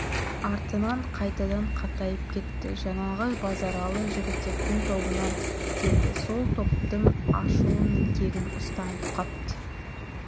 артынан қайтадан қатайып кетті жанағы базаралы жігітектің тобынан келді сол топтың ашуы мен кегін ұстанып қапты